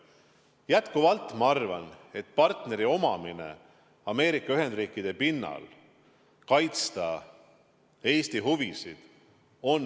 Jätkuvalt ma arvan, et partneri omamine Ameerika Ühendriikide pinnal on väga vajalik, et kaitsta Eesti huvisid.